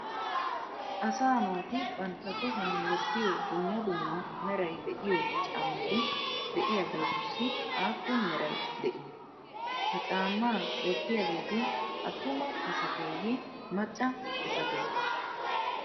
Asa naati bantta tohuwan wottiyo dumma dumma meray de'iyo caammati de'iyageetussi aappun meray de'ii? Ha caama wottiyageeti attuma asatteye macca asattee?